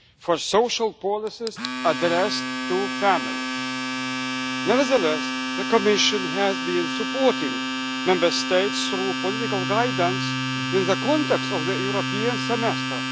for social policies addressed to families. Nevertheless, the Commission has been supporting Member States through political guidance in the context of the European Semester.